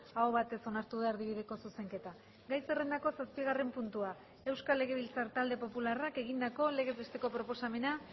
aho batez onartu da erdibideko zuzenketa gai zerrendako zazpigarren puntua euskal legebiltzar talde popularrak egindako legez besteko proposamena